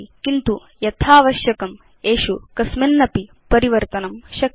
किन्तु अस्मत् आवश्यकतानुसारम् एषु कस्मिन्नपि परिवर्तनं शक्यम्